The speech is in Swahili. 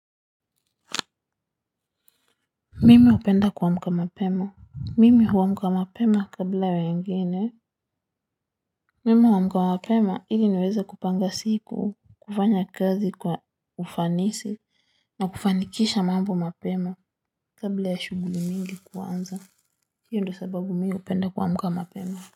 Mimi hupenda kuamka mapema, mimi huamka mapema kabla ya wengine. Mimi huamka mapema ili niweze kupanga siku kufanya kazi kwa ufanisi. Na kufanikisha mambo mapema kabla ya shughuli mingi kuanza. Hiyo ndo sababu mi hupenda kuamka mapema.